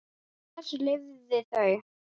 Á þessu lifðu þau.